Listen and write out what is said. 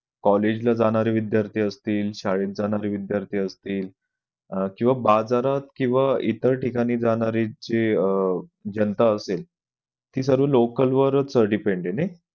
college ला जाणारे विध्यार्थी असतील शाळेत जाणारे विद्यार्थी असतील किंवा बाजारात किंवा इतर ठिकाणी जाणारी जे अह जनता असेल ती सर्व local वरच depend आहे नाही.